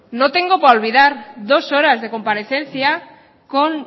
no tengo para olvidar dos horas de comparecencia con